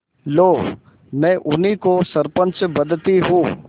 लो मैं उन्हीं को सरपंच बदती हूँ